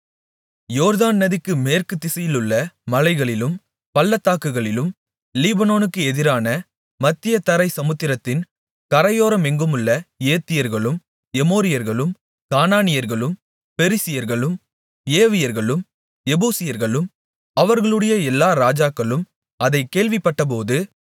யோர்தான் நதிக்கு மேற்கு திசையிலுள்ள மலைகளிலும் பள்ளத்தாக்குகளிலும் லீபனோனுக்கு எதிரான மத்திய தரை சமுத்திரத்தின் கரையோரமெங்குமுள்ள ஏத்தியர்களும் எமோரியர்களும் கானானியர்களும் பெரிசியர்களும் ஏவியர்களும் எபூசியர்களும் அவர்களுடைய எல்லா ராஜாக்களும் அதைக் கேள்விப்பட்டபோது